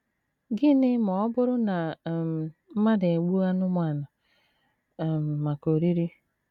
Gịnị ma ọ bụrụ na um mmadụ egbuo anụmanụ um maka oriri?